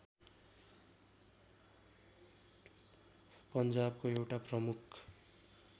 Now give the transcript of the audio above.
पन्जाबको एउटा प्रमुख